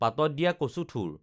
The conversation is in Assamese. পাতত দিয়া কচুথোৰ